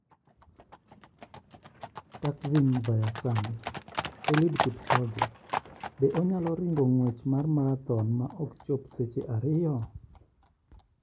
(Takvim, via Sun) Eliud Kipchoge: Be onyalo ringo ng'wech mar marathon ma ok chop seche ariyo?